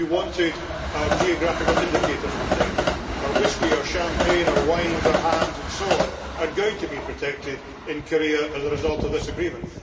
we wanted our geographical indicators protected, our Whisky, our Champagnes, our wines, our hams and so on are going to be protected in Korea as a result of this agreement.